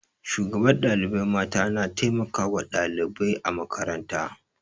Shugabar ɗalibai mata na taimakawa ɗalibai a makaranta.